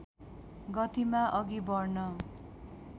गतिमा अघि बढ्न